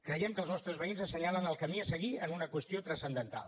creiem que els nostres veïns assenyalen el camí a seguir en una qüestió transcendental